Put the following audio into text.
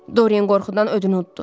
Doryen qorxudan ödünü udddu.